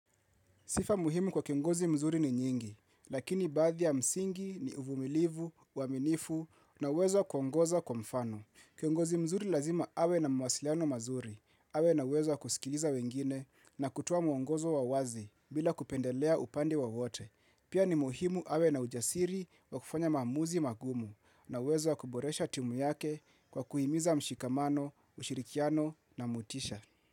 Sifa muhimu kwa kiongozi mzuri ni nyingi, lakini baadhi ya msingi ni uvumilivu, uaminifu na uwezo wa kuongoza kwa mfano. Kiongozi mzuri lazima awe na mawasiliano mazuri, awe na uwezo kusikiliza wengine na kutoa muongozo wa uwazi bila kupendelea upande wowote. Pia ni muhimu awe na ujasiri wa kufanya maamuzi magumu na uwezo wa kuboresha timu yake kwa kuhimiza mshikamano, ushirikiano na motisha.